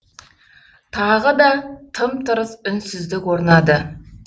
тағы да тым тырыс үнсіздік орнады